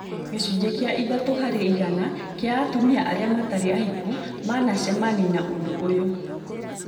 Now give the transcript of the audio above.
Gĩcunjĩ kĩa ithatũ harĩ igana kĩa atumia arĩa matarĩ ahiku manacemani na ũndũ ũyũ